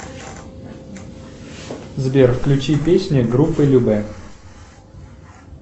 сбер включи песни группы любэ